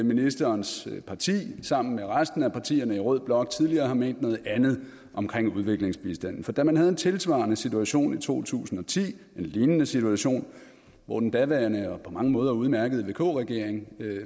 ministerens parti sammen med resten af partierne i rød blok tidligere har ment noget andet om udviklingsbistanden for da man havde en tilsvarende situation i to tusind og ti en lignende situation hvor den daværende og på mange måder udmærkede vk regering